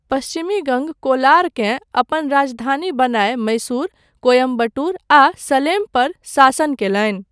पश्चिमी गङ्ग कोलारकेँ अपन राजधानी बनाय मैसूर, कोयंबटूर, आ सलेम पर शासन कयलनि।